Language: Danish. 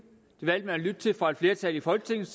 at lytte til og et flertal i folketinget